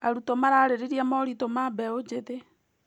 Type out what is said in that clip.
Arutwo mararĩrĩria moritũ ma mbeũ njĩthĩ.